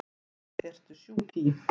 Hvað ertu sjúk í?